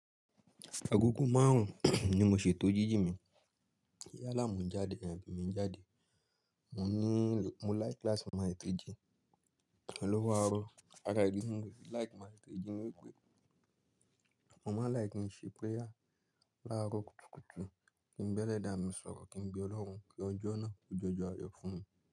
Agogo márùn-ún ni mo ṣètò jíjì mi. Ìyá àlàmú jáde, en ẹ̀mi n jáde. Mò ń ní, mo like class maths three G. Ọ̀pọ̀lọpọ̀ arọ, ara èédú ń gbe. Like maths three G ni ò pé. Mo máa like kí n ṣe prayer. Láàárọ̀ kùtùkùtù, kí n bẹ́lẹ́dá mi sọ̀rọ̀, kí n be Ọlọ́run kí ọjọ́ náà kó jọjọ àyọ̀ fún mi.